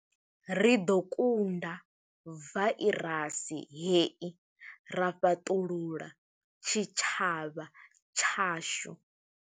Ri ḓo kunda vairasi hei ra fhaṱulula tshitshavha tshashu.